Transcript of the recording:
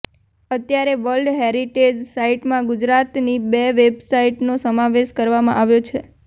અત્યારે world heritage સાઇટમાં ગુજરાતની બે સાઇટનો સમાવેશ કરવામાં આવ્યો છે